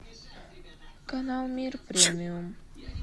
канал мир премиум